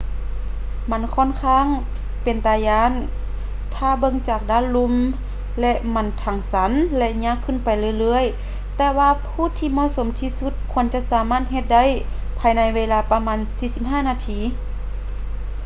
ມັນຂ້ອນຂ້າງເປັນຕາຢ້ານຖ້າເບິ່ງຈາກດ້ານລຸ່ມ ແລະ ມັນທັງຊັນ ແລະ ຍາກຂຶ້ນໄປເລື່ອຍໆ ແຕ່ວ່າຜູ້ທີ່ເໝາະສົມທີ່ສຸດຄວນຈະສາມາດເຮັດໄດ້ພາຍໃນເວລາປະມານ 45 ນາທີ